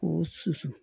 Ko susu